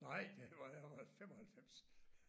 Nej! Det var det har været 95